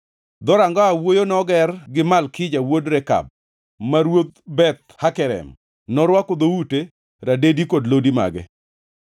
Dhoranga Owuoyo noger gi Malkija wuod Rekab, ma ruodh Beth Hakerem. Norwako dhoute, radedi kod lodi mage.